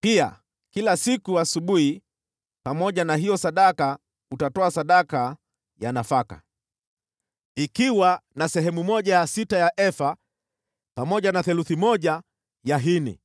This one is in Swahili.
Pia kila siku asubuhi pamoja na hiyo sadaka utatoa sadaka ya nafaka, ikiwa na sehemu ya sita ya efa pamoja na theluthi moja ya hini